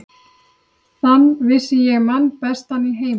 Þann vissi ég mann bestan í heimi.